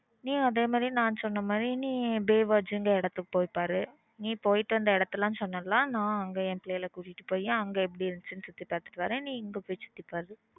நீயும் அதே மாதிரி நான் சொன்ன மாதிரி நீ baywatch இடத்துக்கு போய் பாரு நீ போயிட்டு வந்த இடம் லாம் சொன்ன ல நா என் பிள்ளைங்களை கூட்டிட்டு அங்க எப்பிடி இருந்துச்சுன்னு சுத்தி பார்த்துட்டு வரன் நீ இங்க போய் சுத்தி பாரு